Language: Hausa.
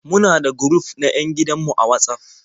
Muna da guruf na 'yan gidan mu a Watsaf.